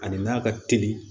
Ani n'a ka teli